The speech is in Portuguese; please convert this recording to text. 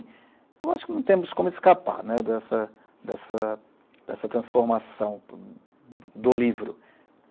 Eu acho que não temos como escapar, né, dessa dessa transformação do livro.